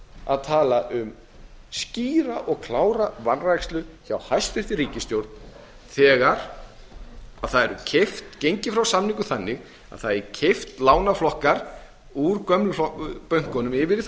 að tala um skýra og klára vanrækslu hjá hæstvirtri ríkisstjórn þegar gengið er þannig frá samningum að það er kippt lánaflokkum úr gömlu bönkunum yfir í þá